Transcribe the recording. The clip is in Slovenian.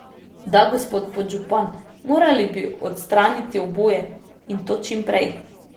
Da, gospod podžupan, morali bi odstraniti oboje, in to čim prej.